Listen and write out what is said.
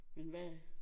Men hvad